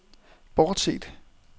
bortset